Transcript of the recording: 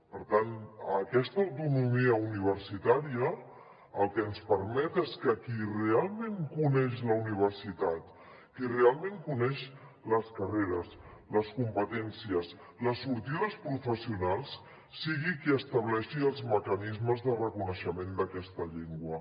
per tant aquesta autonomia universitària el que ens permet és que qui realment coneix la universitat qui realment coneix les carreres les competències les sortides professionals sigui qui estableixi els mecanismes de reconeixement d’aquesta llengua